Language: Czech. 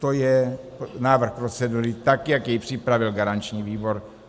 To je návrh procedury, tak jak jej připravil garanční výbor.